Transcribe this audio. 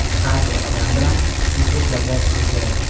har bir odam bilan "Siz" deb gaplashishi kerak.